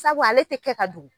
Sabu ale tɛ kɛ ka dugu.